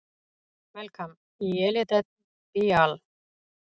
Melkam Yelidet Beaal!